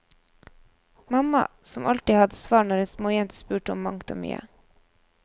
Mamma, som alltid hadde svar når en småjente spurte om mangt og mye.